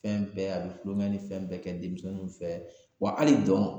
Fɛn bɛɛ a bi kulonkɛ ni fɛn bɛɛ kɛ denmisɛnninw fɛ wa hali dɔn